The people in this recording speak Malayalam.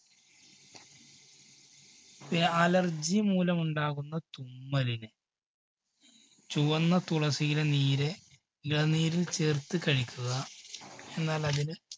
ഇനി allergy മൂലം ഉണ്ടാകുന്ന തുമ്മലിന് ചുവന്ന തുളസിയില നീര് ഇളം നീരിൽ ചേർത്ത് കഴിക്കുക എന്നാൽ അതിന്